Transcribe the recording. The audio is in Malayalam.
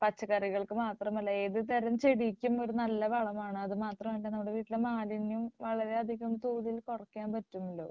പച്ചക്കറികൾക്ക് മാത്രമല്ല ഏതുതരം ചെടിക്കും ഇത് നല്ല വളമാണ് അതുമാത്രമല്ല നമ്മുടെ വീട്ടിലെ മാലിന്യം വളരെയധികം കൂടുതൽ കുറയ്ക്കാൻ പറ്റുന്നുണ്ട്.